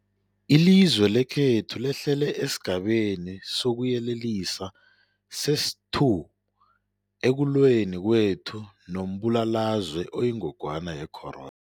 Ilizwe lekhethu lehlele esiGabeni sokuYelelisa sesi-2 ekulweni kwethu nombulalazwe oyingogwana ye-corona.